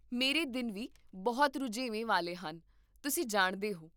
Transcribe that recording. ਮੇਰੇ ਦਿਨ ਵੀ ਬਹੁਤ ਰੁਝੇਵੇਂ ਵਾਲੇ ਹਨ, ਤੁਸੀਂ ਜਾਣਦੇ ਹੋ